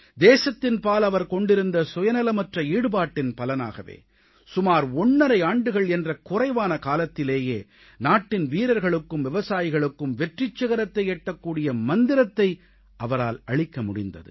தேசத்தின்பால் அவர் கொண்டிருந்த சுயநலமற்ற ஈடுபாட்டின் பலனாகவே சுமார் ஒன்றரை ஆண்டுகள் என்ற குறைவான காலத்திலேயே நாட்டின் வீரர்களுக்கும் விவசாயிகளுக்கும் வெற்றிச் சிகரத்தை எட்டக்கூடிய மந்திரத்தை அவரால் அளிக்க முடிந்தது